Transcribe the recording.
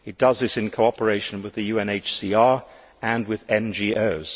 It does this in cooperation with the UNHCR and with NGOs.